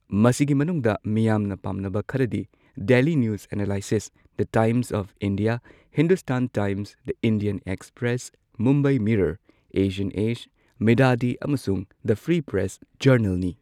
ꯃꯁꯤꯒꯤ ꯃꯅꯨꯡꯗ ꯃꯤꯌꯥꯝꯅ ꯄꯥꯝꯅꯕ ꯈꯔꯗꯤ Daily News Analysis, The Times of India, Hindustan Times, The Indian Express, Mumbai Mirror, Asian Age, Mid Day ꯑꯃꯁꯨꯡ ꯗꯤ ꯐ꯭ꯔꯤ ꯄ꯭ꯔꯦꯁ ꯖꯔꯅꯦꯜꯅꯤ꯫